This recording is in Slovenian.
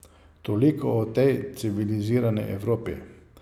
Toliko o tej civilizirani Evropi.